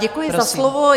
Děkuji za slovo.